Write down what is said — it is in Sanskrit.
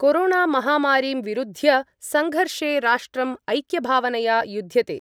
कोरोणामहामारीं विरुध्य सङ्घर्षे राष्ट्रम् ऐक्यभावनया युद्ध्यते।